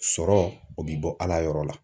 Sɔrɔ , o bɛ bɔ ala yɔrɔ la.